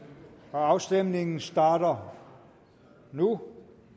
og afstemningen starter nu